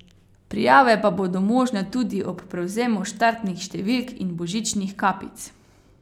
Prijave pa bodo možne tudi ob prevzemu štartnih številk in božičnih kapic.